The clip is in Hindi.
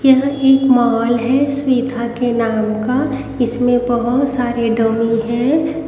यह एक मॉल है स्विथा के नाम का इसमें बहोत सारे डमी हैं।